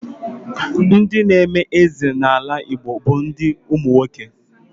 Ndị n'eme eze n'ala Igbo bụ ndị nwoke.